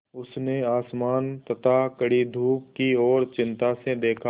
उसने आसमान तथा कड़ी धूप की ओर चिंता से देखा